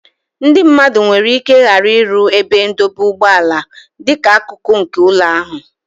Ndị mmadụ nwere ike ghara ịrụ ebe ndọba ụgbọala dịka akụkụ nke ụlọ ha.